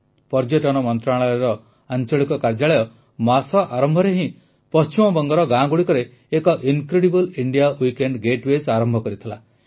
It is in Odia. ପର୍ଯ୍ୟଟନ ମନ୍ତ୍ରଣାଳୟର ଆଂଳିକ କାର୍ଯ୍ୟାଳୟ ମାସ ଆରମ୍ଭରେ ହିଁ ପଶ୍ଚିମବଙ୍ଗର ଗାଁଗୁଡ଼ିକରେ ଏକ ଇନକ୍ରେଡିବଲ୍ ଇଣ୍ଡିଆ ୱୀକେଣ୍ଡ୍ ଗେଟୱେ ଆରମ୍ଭ କରିଥିଲା